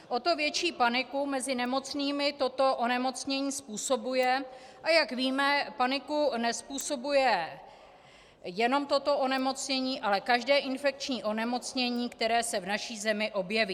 O to větší paniku mezi nemocnými toto onemocnění způsobuje, a jak víme, paniku nezpůsobuje jenom toto onemocnění, ale každé infekční onemocnění, které se v naší zemi objeví.